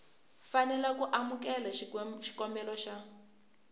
fanela ku amukela xikombelo xa